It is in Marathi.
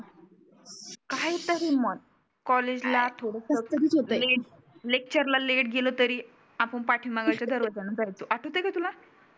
काही तरी म्हण कॉलेज ला लेक्चर ला लेट गेलं तरी आपण पाठी मागं जागा धरुन आठवतय का तुला?